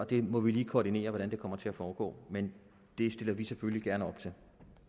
vi må lige koordinere hvordan det kommer til at foregå men det stiller vi selvfølgelig gerne op til